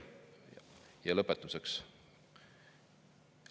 Ja lõpetuseks.